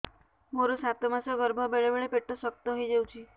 ମୋର ସାତ ମାସ ଗର୍ଭ ବେଳେ ବେଳେ ପେଟ ଶକ୍ତ ହେଇଯାଉଛି